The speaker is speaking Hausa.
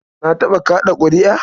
Na taɓa kaɗa ƙuri'a.